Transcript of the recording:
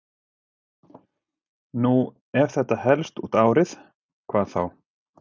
Nú ef þetta helst út árið, hvað þá?